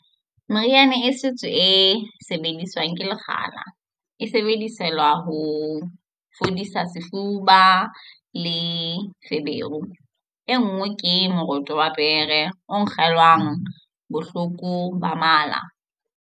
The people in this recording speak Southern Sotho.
Meriana ya setso e sebediswang ke lekgala e sebedisetswa ho fodisa sefuba le feberu. E nngwe ke moroto wa pere o nkelwang bohloko ba mala.